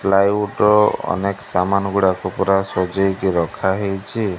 Ply ଉଟ ଅନେକ ସାମାନ ଗୁଡାକ ପୁରା ସଜେଇକି ରଖା ହେଇଚି।